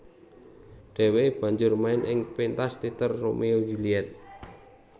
Dheweke bajur main ing pentas teater Romeo Juliet